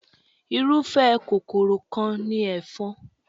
Irúfẹ́ kòkòrò kan ni ẹ̀fọn.